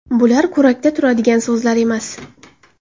Bular kurakda turadigan so‘zlar emas.